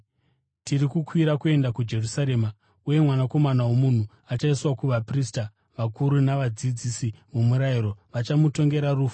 “Tiri kukwira kuenda kuJerusarema, uye Mwanakomana woMunhu achaiswa kuvaprista vakuru navadzidzisi vomurayiro. Vachamutongera rufu